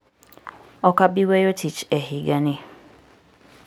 Ok abi weyo tich e higani.